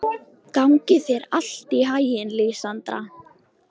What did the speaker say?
Gangi þér allt í haginn, Lísandra.